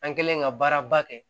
An kɛlen ka baaraba kɛ